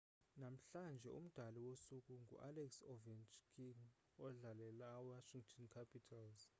namhlanje umdlali wosuku ngualex ovechkin odlalela iwashington capitals